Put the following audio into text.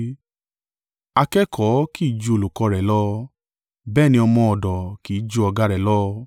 “Akẹ́kọ̀ọ́ kì í ju olùkọ́ rẹ̀ lọ, bẹ́ẹ̀ ni ọmọ ọ̀dọ̀ kì í ju ọ̀gá rẹ̀ lọ.